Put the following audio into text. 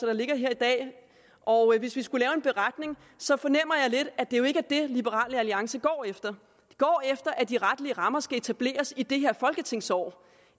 der ligger her i dag og hvis vi skulle lave en beretning så fornemmer jeg lidt at det jo ikke er det liberal alliance går efter de går efter at de retlige rammer skal etableres i det her folketingsår og